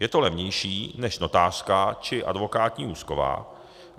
Je to levnější než notářská či advokátní úschova.